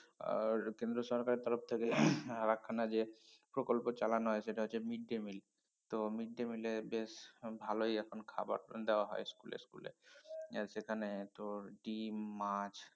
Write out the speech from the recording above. আর কেন্দ্র সরকারের তরফ থেকে আরাকখানা যে প্রকল্প চালানো হয় সেটা হচ্ছে mid day meal তো mid day meal এ বেশ ভালোই এখন খাবার দেয়া হয় school এ সেখানে তোর ডিম মাছ